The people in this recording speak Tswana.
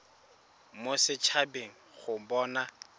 mo set habeng go bona